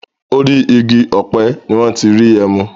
Orí igi ọ̀pẹ ni wọ́n ti ń rí ẹmu.